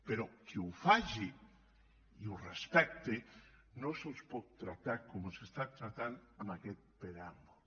però els que ho facin i ho respectin no se’ls pot tractar com se’ls està tractant en aquest preàmbul